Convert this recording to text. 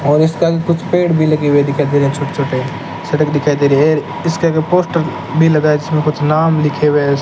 और इसके आगे कुछ पेड़ भी लगे हुए दिखाई दे रहे हैं छोटे-छोटे सड़क दिखाई दे रही हैं इसके आगे पोस्टर भी लगा हैं इसमें कुछ नाम लिखे हुए है।